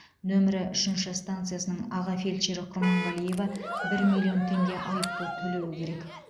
нөмірі үшінші станциясының аға фельдшері құрманғалиева бір миллион теңге айыппұл төлеуі керек